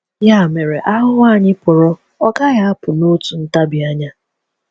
Ya mere, ahụhụ anyị pụrụ ọ gaghị apụ n’otu ntabi anya.